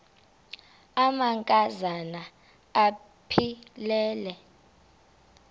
amanka zana aphilele